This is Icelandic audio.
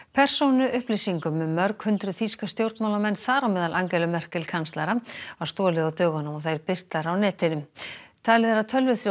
persónuupplýsingum um mörg hundruð þýska stjórnmálamenn þar á meðal Angelu Merkel kanslara var stolið á dögunum og þær birtar á netinu talið er að tölvuþrjótar